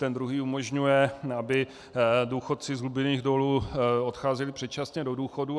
Ten druhý umožňuje, aby důchodci z hlubinných dolů odcházeli předčasně do důchodů.